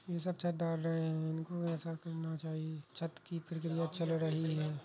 यह सब छत डार रहें हैं। इनको ऐसा करना चाहिए। छत की प्रक्रिया चल रही है।